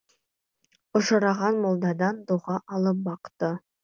ұшыраған молдадан дұға алып бақты